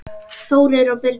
Þórir og Birna.